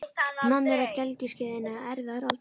Nonni er á gelgjuskeiðinu eða erfiða aldrinum.